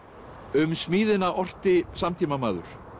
um smíðina orti samtímamaður